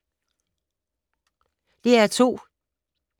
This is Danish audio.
DR2